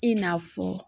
I n'a fɔ